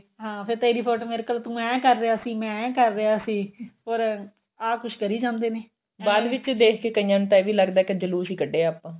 ਹਾਂ ਫੇਰ ਤੇਰੀ ਫੋਟੋ ਮੇਰੇ ਕੋਲ ਤੂੰ ਐਂ ਕਰ ਰਿਹਾ ਸੀ ਮੈਂ ਐਂ ਕਰ ਰਿਹਾ ਸੀ or ਆਹ ਕੁੱਝ ਕਰੀ ਜਾਂਦੇ ਨੇ ਬਾਅਦ ਵਿੱਚ ਦੇਖ ਕੇ ਕਈਆਂ ਨੂੰ ਤਾਂ ਇਹ ਵੀ ਲੱਗਦਾ ਏ ਵੀ ਜਲੂਸ ਹੀ ਕੱਢਿਆ ਆਪਾਂ